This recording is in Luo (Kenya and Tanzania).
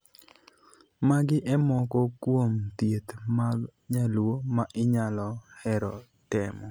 Magi e moko kuom thieth mag nyaluo ma inyalo hero temo.